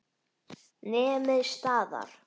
Nemið staðar!